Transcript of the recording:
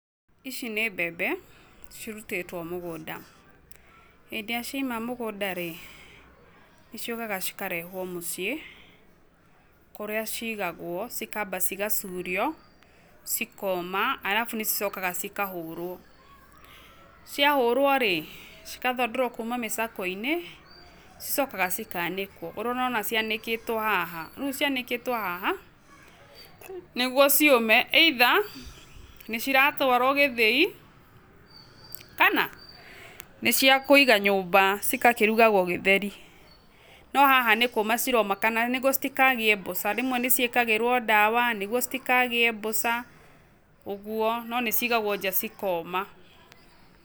Ici nĩ mbembe cirutĩtwo mũgũnda, hĩndĩ ĩrĩa ciaima mũgũnda rĩ, ciũkaga cikarehwo mũciĩ kũrĩa cigagwo, cikamba cigacurio cikoma alafu nĩcicokaga cikahũrwo, ciahũrwo rĩ cigathandũrwo kuma mĩcakwe-inĩ, cicokaga cikanĩkwo ũrĩa ũrona cianĩkĩtwo haha, rĩu cianĩkĩtwo haha nĩguo ciũme either nĩciratwaro gĩthĩi kana nĩciakwĩiga nyũmba cikakĩrugagwo gĩtheri, no haha nĩkũma ciroma kana nĩguo citikagĩe mbũca, rĩmwe nĩciĩkagĩrwo dawa nĩguo citikagĩe mbuca ũguo, no nĩcigagwo nja cikoma.